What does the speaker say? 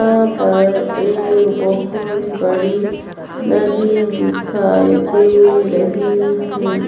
यहाँ पर एक बहोत बड़ी नदी दिखाई दे रही हे।